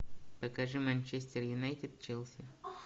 покажи манчестер юнайтед челси